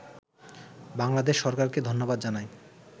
বাংলাদেশ সরকারকে ধন্যবাদ জানাই